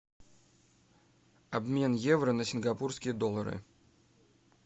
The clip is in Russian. обмен евро на сингапурские доллары